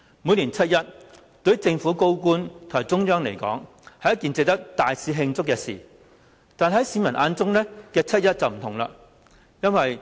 每年七一，對於政府高官及中央來說，是一件值得大肆慶祝的事，但市民眼中的七一則不同。